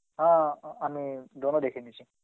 হা আ~ আমি Hindi দেখে নিছি.